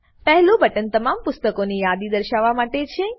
પહેલું બટન તમામ પુસ્તકોની યાદી દર્શાવવા માટે છે